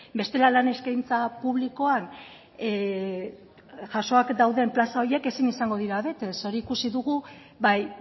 bestela lan eskaintza publikoan jasoak dauden plaza horiek ezin izango dira bete hori ikusi dugu bai